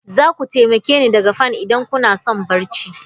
Za ku taimake ni daga Fan idan kuna son barci?